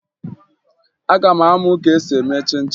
Aga m amụ ka esi eme chịn chịn